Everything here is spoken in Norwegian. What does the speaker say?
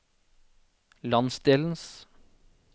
landsdelens